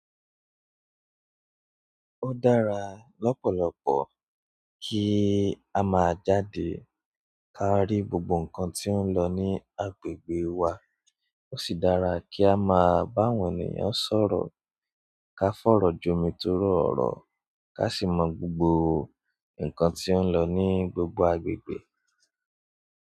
Ó dára lọ́pọ̀lọpọ̀ kí a má jáde ká rí gbogbo ǹkan tí ó ń lọ ní agbègbè wa. Ó sì dára kí a má bá àwọn ènìyàn sọ̀rọ̀, ká fọ̀rọ̀ jomi torọ́ ọ̀rọ̀, ká sì mọ gbogbo ǹkan tí ó ń lọ ní gbogbo agbègbè.